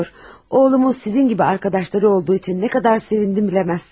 Oğlumuz sizin kimi dostları olduğu üçün nə qədər sevindim, bilməzsiniz.